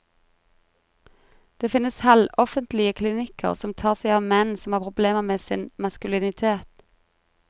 Det finnes halvoffentlige klinikker som tar seg av menn som har problemer med sin maskulinitet.